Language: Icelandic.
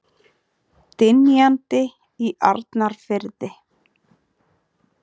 Dynjandi í Arnarfirði.